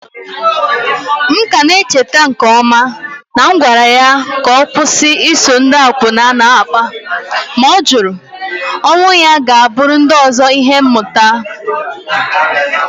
M ka na-echeta nke ọma na m gwara ya ka ọ kwụsị iso ndị akwụna na-akpa, ma ọ jụrụ. Onwụ ya ga-abụrụ ndị ọzọ ihe mmụta.